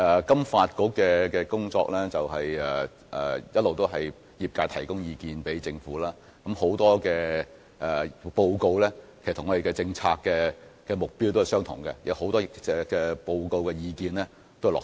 金發局一直負責收集業界的意見，並向政府反映，其報告與我們的政策目標一致，很多在報告中提出的建議亦已經落實。